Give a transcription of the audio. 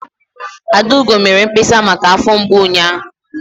Adaugo mere mkpesa maka afọ mgbu ụnyaahụ.